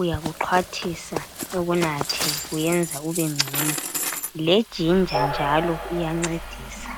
uyakuxhwathisa ukunatha kuyenza ubengcono. Lejinja iyancedisa.